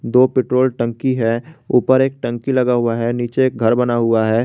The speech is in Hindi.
दो पेट्रोल टंकी है ऊपर एक टंकी लगा हुआ है नीचे एक घर बना हुआ है।